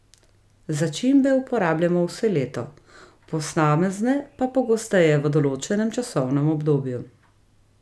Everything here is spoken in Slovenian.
Začimbe uporabljamo vse leto, posamezne pa pogosteje v določenem časovnem obdobju.